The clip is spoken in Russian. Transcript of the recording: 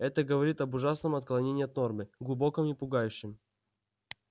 это говорит об ужасном отклонений от нормы глубоком и пугающем